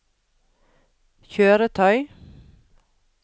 kjøretøy